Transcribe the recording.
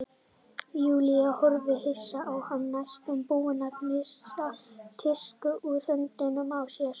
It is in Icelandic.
Júlía horfði hissa á hana næstum búin að missa disk úr höndunum á sér.